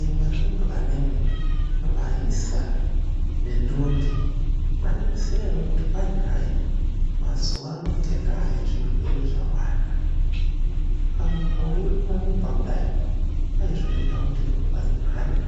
Imi arumbwanami vaisa nendombi maizviziya here kuti kwai hai mazuva ano ngendaa yezvirwere zvawanda, ukamuka weirumba-rumba kudai kwai zvinoita kuti ropa rimhanye